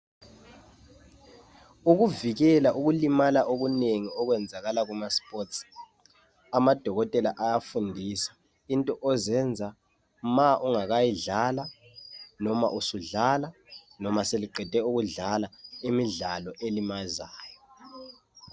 Ukuvikela ukulimala okunengi okwenzakala kumaSports. Amadokotela ayafundisa. into ozenza ma ungakayidlala, noma usudlala, noma seliqede ukudlala, imidlalo elimazayo.